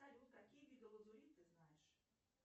салют какие виды лазурит ты знаешь